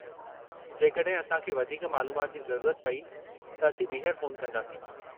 जेकॾहिं असां खे वधीक मालूमात जी ज़रूरत पेई, त असीं ॿीहरु फ़ोन कंदासीं।